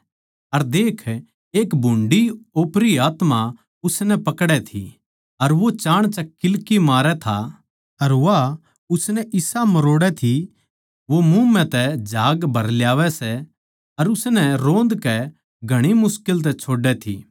अर दे एक भुंडी ओपरी आत्मा उसनै पकड़ै थी अर वो चाणचक किल्की मारै थाअर वा उसनै इसा मरोड़ै थी के वो मुँह म्ह तै झाग भर लावै सै उसनै रोंदकै घणी मुश्किल तै छोड्डै थी